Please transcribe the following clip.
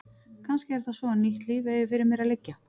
Kannski er það svo að nýtt líf eigi fyrir mér að liggja.